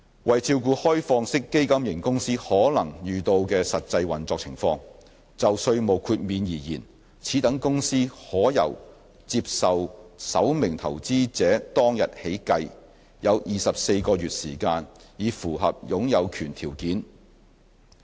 為照顧開放式基金型公司可能遇到的實際運作情況，就稅務豁免而言，此等公司可以由接受首名投資者當日起計，有24個月時間以符合擁有權條件。